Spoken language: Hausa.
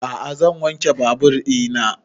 A'a zan wanke babur ina